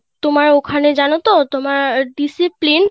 তোমার ওখানে জানো তো তোমার Discipline